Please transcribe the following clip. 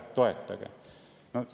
Toetage!